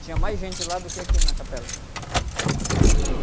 Tinha mais gente lá do que aqui na capela.